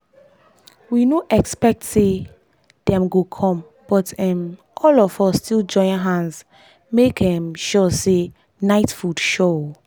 we no expect say dem go come but um all of us still join hand make um sure say night food sure um